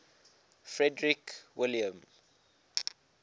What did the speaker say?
frederick william